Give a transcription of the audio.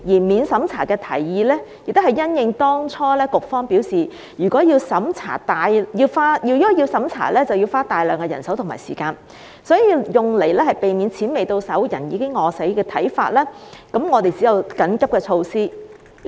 免審查的提議，亦是因應當初局方表示，如果要審查，便要大量人手和時間，為免"錢未到手，人已餓死"，我們只有建議採用緊急措施。